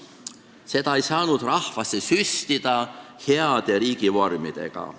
Seda ei saanud rahvasse süstida heade riigivormidega.